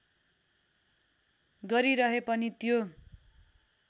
गरिरहे पनि त्यो